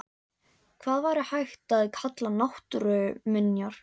Hvað væri hægt að kalla náttúruminjar?